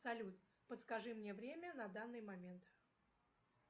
салют подскажи мне время на данный момент